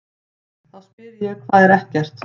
Þá spyr ég: HVAÐ ER EKKERT?